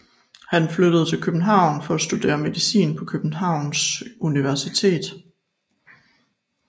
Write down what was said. Han flyttede til København for at studere medicin på Københavns Universitet